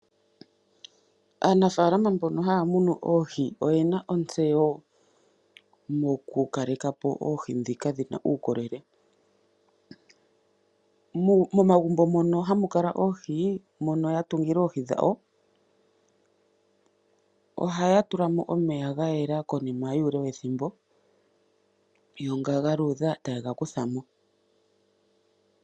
Aanafaalama mbono haya munu oohi oyena ontseyo moku kalekapo oohi ndhika dhina uukolele. Momagumbo mono hamu kala oohi, mono ya tungila oohi dhawo, ohaya tulamo omeya ga yela konima yuule wethimbo yo nga ga luudha tayega kuthamo.